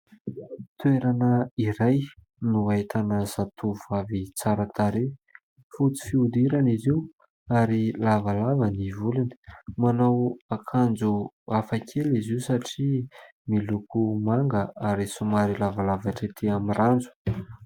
Toerana iray no ahitana zatovovavy tsara tarehy, fotsy fihodirana izy io ary lavalava ny volony. Manao akanjo hafakely izy io satria miloko manga ary somary lavalava hatrety amin'ny ranjo.